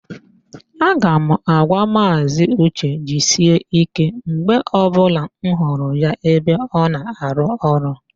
A ga m agwa Maazị ụche, "jisie ike" mgbe ọbụla m hụrụ ya ebe ọ na-arụ ọrụ